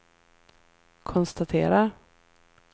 konstaterar